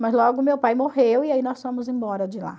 Mas logo meu pai morreu e aí nós fomos embora de lá.